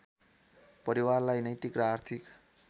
परिवारलाई नैतिक र आर्थिक